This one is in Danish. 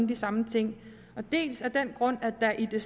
de samme ting dels af den grund at der i det